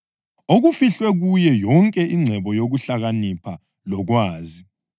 okufihlwe kuye yonke ingcebo yokuhlakanipha lokwazi.